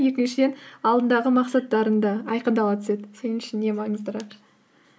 екіншіден алдындағы мақсаттарың да айқындала түседі сен үшін не маңыздырақ